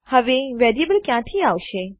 હવે વેરીએબલ ક્યાંથી આવશે